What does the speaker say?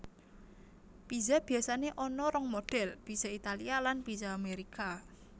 Pizza biasané ana rong modèl pizza Italia lan pizza Amérika